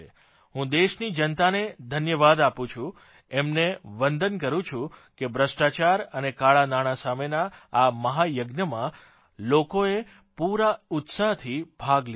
હું દેશની જનતાને ધન્યવાદ આપું છું એમને વંદન કરૂં છું કે ભ્રષ્ટાચાર અને કાળાં નાણાં સામેના આ મહાયજ્ઞમાં લોકોએ પૂરા ઉત્સાહથી ભાગ લીધો છે